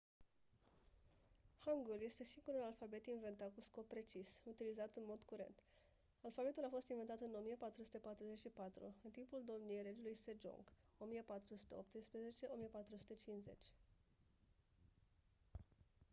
hangul este singurul alfabet inventat cu scop precis utilizat în mod curent. alfabetul a fost inventat în 1444 în timpul domniei regelui sejong 1418 – 1450